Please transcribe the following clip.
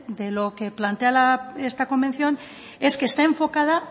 de lo que plantea esta convención es que está enfocada